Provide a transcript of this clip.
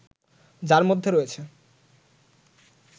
যার মধ্যে রয়েছে